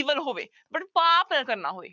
Evil ਹੋਵੇ but ਪਾਪ ਨਾ ਕਰਨਾ ਹੋਵੇ